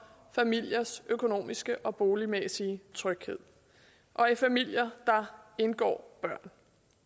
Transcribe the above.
familiers økonomiske og boligmæssige tryghed og i familier indgår børn